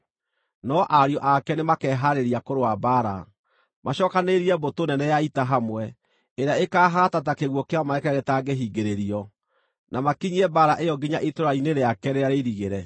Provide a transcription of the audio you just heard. No ariũ ake nĩmakehaarĩria kũrũa mbaara, macookanĩrĩrie mbũtũ nene ya ita hamwe ĩrĩa ĩkaahaata ta kĩguũ kĩa maaĩ kĩrĩa gĩtangĩhingĩrĩrio, na makinyie mbaara ĩyo nginya itũũra-inĩ rĩake rĩrĩa rĩirigĩre.